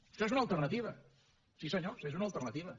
això és una alternativa sí senyors és una alternativa